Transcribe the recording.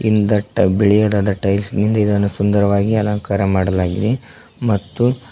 ಹಿಂದಟ್ಟ ಬಿಳಿಯದಾದ ಟೈಲ್ಸ್ ನಿಂದ ಇದನ್ನು ಸುಂದರವಾಗಿ ಅಲಂಕಾರ ಮಾಡಲಾಗಿದೆ ಮತ್ತು --